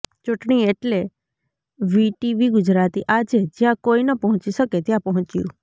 ચૂંટણી એટલે વીટીવી ગુજરાતી આજે જ્યાં કોઈ ન પહોંચી શકે ત્યાં પહોંચ્યું